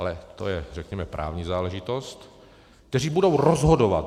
Ale to je řekněme právní záležitost, kteří budou rozhodovat.